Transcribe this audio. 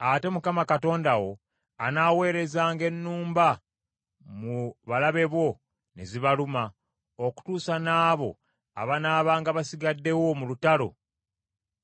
Ate Mukama Katonda wo anaaweerezanga ennumba mu balabe bo ne zibaluma, okutuusa n’abo abanaabanga basigaddewo mu lutalo,